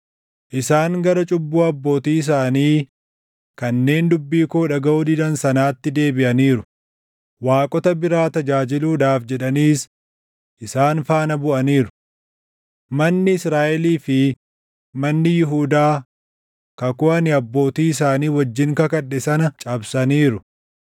Isaan gara cubbuu abbootii isaanii kanneen dubbii koo dhagaʼuu didan sanaatti deebiʼaniiru. Waaqota biraa tajaajiluudhaaf jedhaniis isaan faana buʼaniiru. Manni Israaʼelii fi manni Yihuudaa kakuu ani abbootii isaanii wajjin kakadhe sana cabsaniiru.